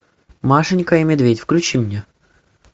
машенька и медведь включи мне